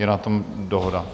Je na tom dohoda?